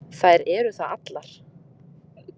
Þær eru það allar.